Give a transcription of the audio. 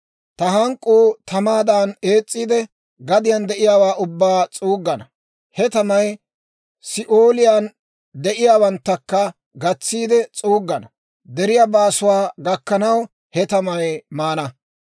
Ta hank'k'uu tamaadan ees's'iide, gadiyaan de'iyaawaa ubbaa s'uuggana. He tamay Si'ooliyaan de'iyaawaanakka gatsiide s'uuggana; deriyaa baasuwaa gakkanaw, he tamay maana.